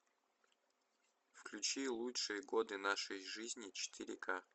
включи лучшие годы нашей жизни четыре ка